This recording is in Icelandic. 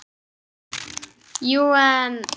Jú, en